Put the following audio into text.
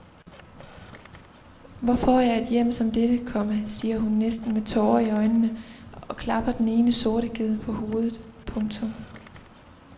Hvor får jeg et hjem som dette, komma siger hun næsten med tårer i øjnene og klapper den ene sorte ged på hovedet. punktum